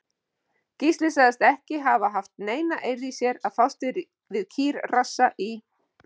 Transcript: Gísli sagðist ekki hafa haft neina eirð í sér að fást við kýrrassa í